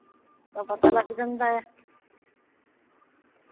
ਤਾਂ ਪਤਾ ਲੱਗ ਜਾਂਦਾ ਐ